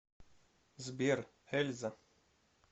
сбер эльза